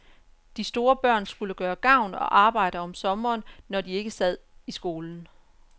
De store børn skulle gøre gavn og arbejde om sommeren, når de ikke sad i skolen.